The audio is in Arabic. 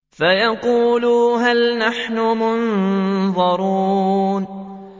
فَيَقُولُوا هَلْ نَحْنُ مُنظَرُونَ